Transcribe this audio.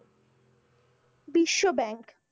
বিশ্বব্যাংক,